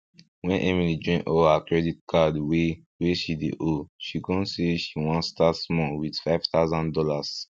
wen emily join all her credit card wey wey she dey owe she con say she won start small with five tousan dollars